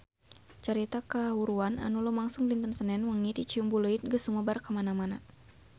Carita kahuruan anu lumangsung dinten Senen wengi di Ciumbuleuit geus sumebar kamana-mana